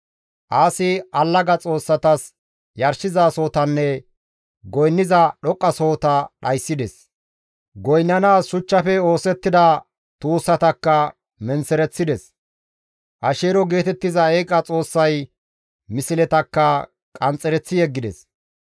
Aasi allaga xoossatas yarshizasohotanne goynniza dhoqqasohota dhayssides. Goynnanaas shuchchafe oosettida tuussatakka menththereththides; Asheero geetettiza eeqa xoossay misletakka qanxxereththi yeggides.